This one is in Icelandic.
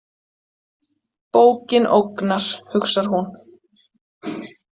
Bókin ógnar, hugsar hún.